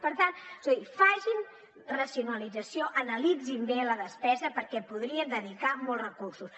per tant és a dir facin racionalització analitzin bé la despesa perquè hi podrien dedicar molt recursos